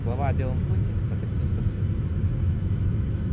слава о белом клыке прокатились повсюду